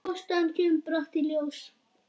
Ástæðan kemur brátt í ljós.